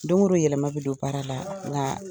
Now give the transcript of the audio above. Doŋo do yɛlɛma be don baara la ŋaa